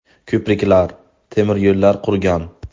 Ko‘priklar, temiryo‘llar qurgan.